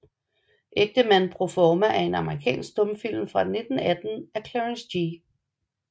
Ægtemand pro forma er en amerikansk stumfilm fra 1918 af Clarence G